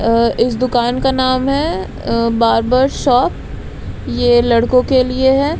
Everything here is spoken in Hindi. अ इस दुकान का नाम है अ बार्बर शॉप ये लड़कों के लिए है।